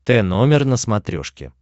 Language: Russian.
т номер на смотрешке